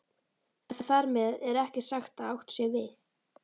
En þar með er ekki sagt að átt sé við